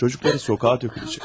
Uşaqları küçəyə töküləcək.